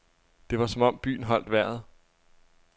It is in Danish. Det var som om byen holdt vejret.